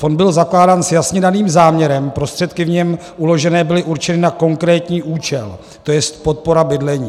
Fond byl zakládán s jasně daným záměrem, prostředky v něm uložené byly určeny na konkrétní účel, to je podpora bydlení.